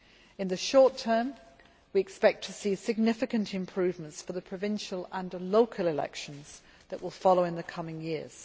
In the short term, we expect to see significant improvements for the provincial and local elections that will follow in the coming years.